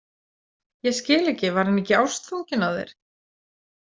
Ég skil ekki, var hann ekki ástfanginn af þér?